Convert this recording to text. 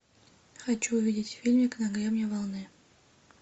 хочу увидеть фильмик на гребне волны